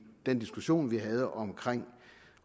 den diskussion vi havde om